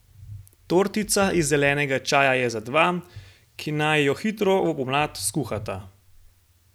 Tortica iz zelenega čaja je za dva, ki naj jo hitro v pomlad skuhata.